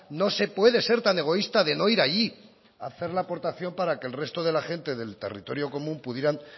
no se puede ser tan egoísta de no ir allí a hacer la aportación para que el resto de la gente del territorio común pudiera